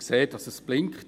Ich sehe, dass es blinkt.